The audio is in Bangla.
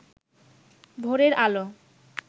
ভোরের আলো